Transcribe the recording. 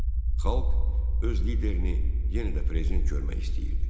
Xalq öz liderini yenə də prezident görmək istəyirdi.